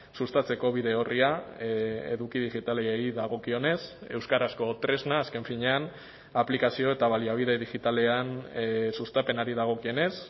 sustatzeko bide orria eduki digitalei dagokionez euskarazko tresna azken finean aplikazio eta baliabide digitalean sustapenari dagokionez